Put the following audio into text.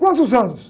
Quantos anos?